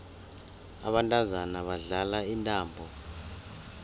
abantazana badlala intambo